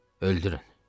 Öldürün!